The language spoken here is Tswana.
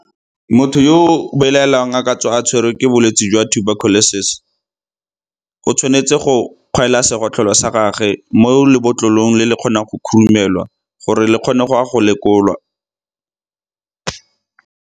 Motho yo o bolelelang a ka tswa a tshwerwe ke bolwetse jwa Tuberculosis o tshwanetse go kgwela segotlholo sa gage mo lebotlolong le le kgonang go ka dumelwa gore le kgone go a go lekolwa.